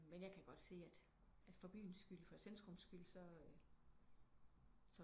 Nej jeg kan godt se at for byens skyld for centrums skyld så